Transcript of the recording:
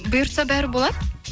бұйыртса бәрі болады